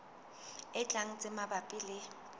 e tlang tse mabapi le